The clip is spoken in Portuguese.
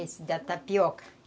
Esse, da tapioca.